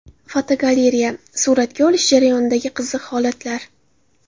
Fotogalereya: Suratga olish jarayonidagi qiziq holatlar.